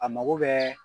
A mago bɛɛ